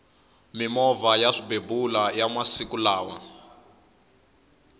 mimovha ya swibebula iya masiku lawa